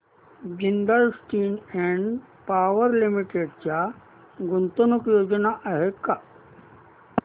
Jindal steel and power limited च्या गुंतवणूक योजना आहेत का